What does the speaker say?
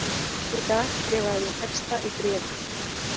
Í dag skrifaði ég texta í bréfi:.